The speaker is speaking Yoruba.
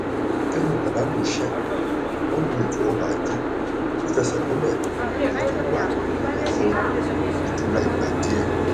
lẹyìn ìpàdánù iṣẹ wọn lo ètò ọrọ ajé tó fẹsẹ múlẹ èyí tó wà nílẹ fún ìtura ìgbà díẹ